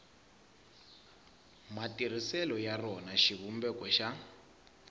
matirhiselo ya rona xivumbeko xa